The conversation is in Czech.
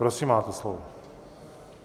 Prosím, máte slovo.